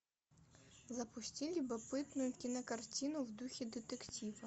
запусти любопытную кинокартину в духе детектива